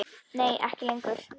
Nei ekki lengur.